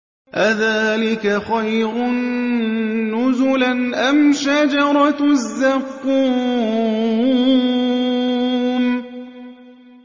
أَذَٰلِكَ خَيْرٌ نُّزُلًا أَمْ شَجَرَةُ الزَّقُّومِ